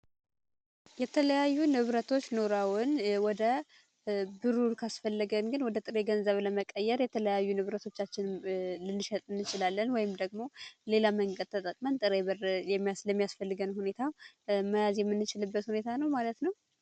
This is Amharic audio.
የተለያዩ ንብረቶች ኑረውን ብሩ ካስፈለገን ግን ወደ ጥሬ ገንዘብ ለመቀየር የተለያዩ ንብረቶቻችንን ልንሸጥ እንችላለን ወይም ደግሞ ሌላ መንገድ ተጠቅመን ጥሬ ብር ለሚያስፈልገን ሁኔታ መያዝ የምንችልበት ሁኔታ ነው ማለት ነው።